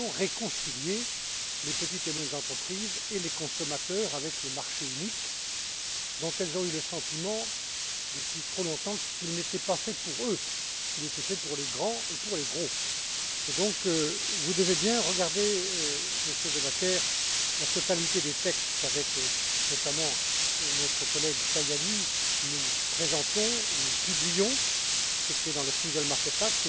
Nous voulons réconcilier les petites et moyennes entreprises et les consommateurs avec le marché unique, dont ils ont eu le sentiment depuis trop longtemps qu'il n'était pas fait pour eux, mais qu'il était fait pour les grands et pour les gros! Vous devez bien regarder, Monsieur De Backer, la totalité des textes qu'avec, notamment, notre collègue Tajani, nous présentons ou nous publions, ce qui est notamment dans le Single Market Act.